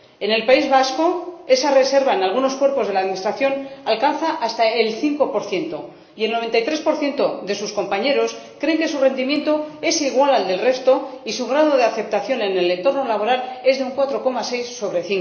En el País Vasco, esa reserva en algunos cuerpos de la Administración alcanza hasta el 5 y el 93 de sus compañeros cree que su rendimiento es igual al del resto y su grado de aceptación en el entorno laboral es de un 4,6 sobre